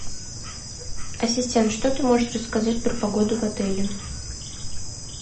ассистент что ты можешь рассказать про погоду в отеле